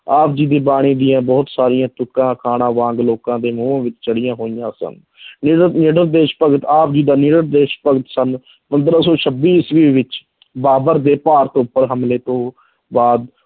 ਆਪ ਜੀ ਦੀ ਬਾਣੀ ਦੀਆਂ ਬਹੁਤ ਸਾਰੀਆਂ ਤੁੱਕਾਂ ਅਖਾਣਾਂ ਵਾਂਗ ਲੋਕਾਂ ਦੇ ਮੂੰਹ ਵਿੱਚ ਚੜ੍ਹੀਆਂ ਹੋਈਆਂ ਸਨ ਨਿਡਰ ਨਿਡਰ ਦੇਸ ਭਗਤ ਆਪ ਜੀ ਦਾ ਨਿਡਰ ਦੇਸ ਭਗਤ ਸਨ, ਪੰਦਰਾਂ ਸੌ ਛੱਬੀ ਈਸਵੀ ਵਿੱਚ ਬਾਬਰ ਦੇ ਭਾਰਤ ਉੱਪਰ ਹਮਲੇ ਤੋਂ ਬਾਅਦ